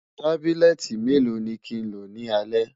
tábìlìléti mélò ní kín ló ní alè?